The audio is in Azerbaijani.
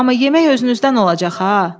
Amma yemək özünüzdən olacaq ha.